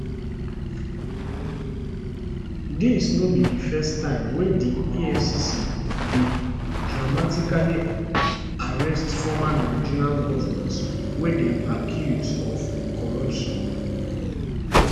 dis no be di first time wey di efcc dey dramatically arrest former nigerian govnors wey dem accuse of corruption